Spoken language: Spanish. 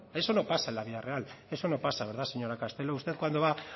esto no pasa en la vida real esto no pasa verdad señora castelo usted cuando va